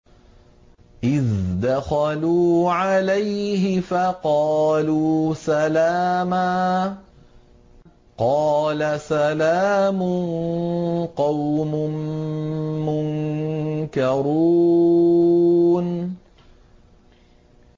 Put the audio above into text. إِذْ دَخَلُوا عَلَيْهِ فَقَالُوا سَلَامًا ۖ قَالَ سَلَامٌ قَوْمٌ مُّنكَرُونَ